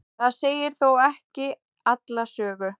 það segir þó ekki alla sögu